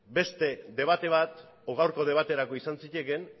beste debate bat edo gaurko debaterako izan zitekeen